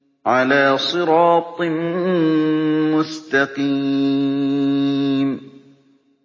عَلَىٰ صِرَاطٍ مُّسْتَقِيمٍ